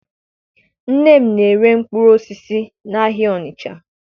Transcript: Nne m na-ere mkpụrụ osisi n'ahịa Ọnịcha